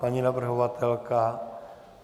Paní navrhovatelka?